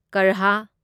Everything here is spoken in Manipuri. ꯀꯔꯍꯥ